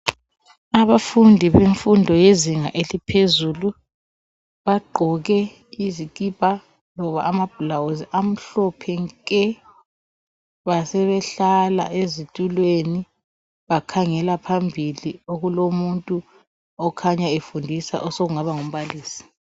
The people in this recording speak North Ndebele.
Abafundi bemfundo yezinga eliphezulu bagqoke izikipa loba amabhulawuzi amhlophe nke basebehlala ezitulweni bakhangela phambili okulomuntu okhanya efundisa osokungaba ngumbalisi.